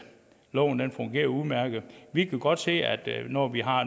loven fungerer udmærket vi kan godt se at når vi har